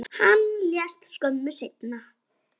Hann lést skömmu seinna.